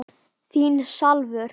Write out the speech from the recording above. Þín Salvör.